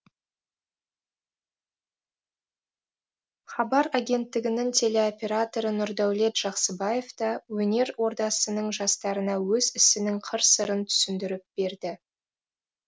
хабар агенттігінің телеоператоры нұрдәулет жақсыбаев та өнер ордасының жастарына өз ісінің қыр сырын түсіндіріп берді